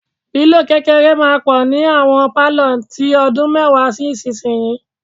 Pílò kékeré máa pọ̀ ni àwọn pálọ̀ tí ọdún mẹ́wàá sí ìsinyìí.